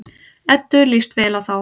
Eddu líst vel á þá.